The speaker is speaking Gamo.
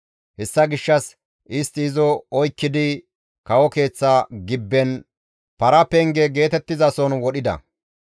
Hessa gishshas istti izo oykkidi kawo keeththa gibben paraa penge geetettizason wodhida.